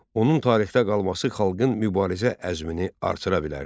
Onun tarixdə qalması xalqın mübarizə əzmini artıra bilərdi.